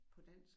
På dansk